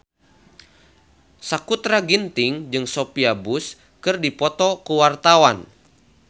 Sakutra Ginting jeung Sophia Bush keur dipoto ku wartawan